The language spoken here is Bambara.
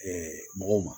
mɔgɔw ma